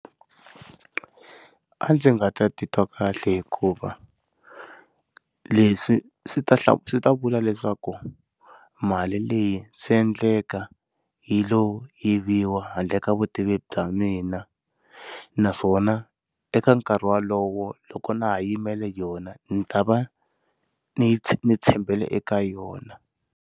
A ndzi nga ta titwa kahle hikuva leswi swi ta hla swi ta vula leswaku mali leyi swi endleka hi lo yiviwa handle ka vutivi bya mina naswona eka nkarhi wolowo loko na ha yimele yona ndzi ta va ndzi ndzi tshembele eka yona.